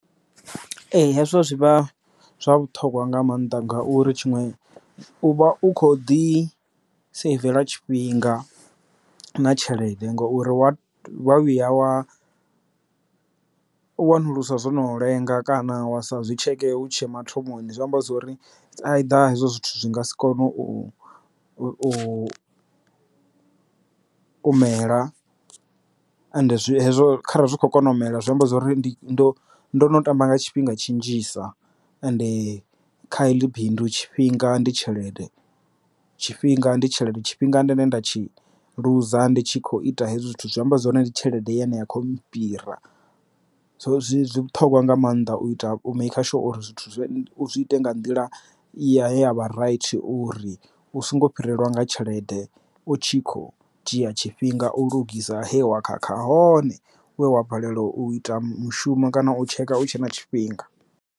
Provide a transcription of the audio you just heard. Ee hezwo zwi vha zwa vhuṱhogwa nga maanḓa ngauri tshiṅwe u vha u kho ḓi saivela tshifhinga na tshelede ngauri wa vhuya wa u wanuluswa zwo no lenga kana wa sa zwi tsheke hutshe mathomoni zwi amba zwori a i ḓa hezwo zwithu zwi nga si kone u u mela and zwi hezwo kharali zwi kho kona u mela zwi amba zwori ndi ndo ndono tamba nga tshifhinga tshi nnzhisa. Ende kha heḽi bindu tshifhinga ndi tshelede tshifhinga ndi tshelede tshifhinga ndine nda tshi ḽuza ndi tshi kho ita hezwi zwithu zwi amba zwone ndi tshelede ine ya khou fhira zwo zwi vhuṱhogwa nga maanḓa u ita u maker sure uri zwithu zwi ite nga nḓila i ya vha right uri u songo fhirelwa nga tshelede u tshi kho dzhia tshifhinga u lugisa he wa khakha hone wa fhelela u ita mushumo kana u tshekha u tshe na tshifhinga.